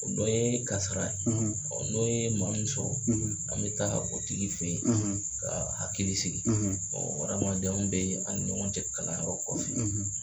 O dɔ ye kasara ye n'o ye maa min sɔrɔ an bɛ taa o tigi fɛ ye ka hakili sigi o hadamadenyaw bɛ an ni ɲɔgɔn cɛ kalanyɔrɔ kɔfɛ.